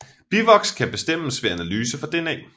Bivoks kan bestemmes ved analyse for DNA